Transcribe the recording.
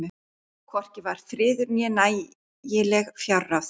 Hvorki var friður né nægileg fjárráð.